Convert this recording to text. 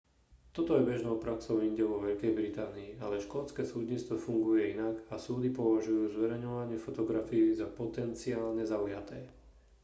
toto je bežnou praxou inde vo veľkej británii ale škótske súdnictvo funguje inak a súdy považujú zverejňovanie fotografií za potenciálne zaujaté